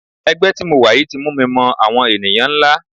Ẹgbẹ́ tí mo wà yìí ti mú mi mọ àwọn ènìyàn ńlá.